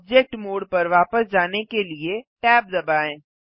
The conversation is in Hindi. ऑब्जेक्ट मोड पर वापस जाने के लिए tab दबाएँ